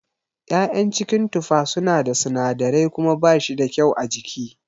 ya'yan cikin tufa suna da sinadirai kuma bashi da kyau a jiki.